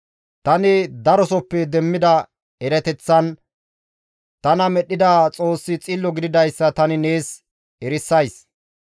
Tani darosoppe demmida erateththan, tana medhdhida Xoossi Xillo gididayssa tani nees erisays.